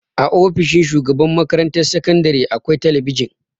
A ofishin shugaban makarantar sakandare akwai talabijin.